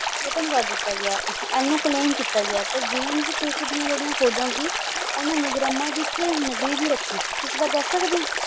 ਦਿੱਤਾ ਗਿਆ ਇਹਨੂੰ claim ਕੀਤਾ ਗਿਆ ਤੇ ਜੇਮਸ ਕੁੱਕ ਦੀਆਂ ਜਿਹੜੀਆਂ ਖੋਜਾਂ ਸੀ ਓਹਨੂੰ ਮੁਗਰੱਮਾ ਦੀ ਇਕ ਨਗਰੀ ਦੀ ਰੱਖੀ ਇਸ ਬਾਰੇ ਦੱਸ ਸਕਦੇ ਓ?